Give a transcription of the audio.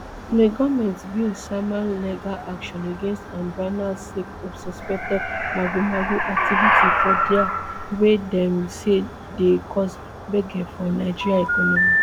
di goment bin sama legal action against um binance sake of suspected magomago activity for dia wey dem say dey cause gbege for nigeria economy